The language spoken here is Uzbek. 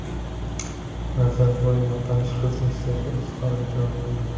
Nazarboyev notanish qizning sevgi izhoriga javob qildi .